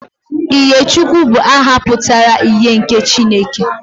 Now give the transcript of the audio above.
Ihèchukwu bụ aha pụtara ' ihe nke Chineke'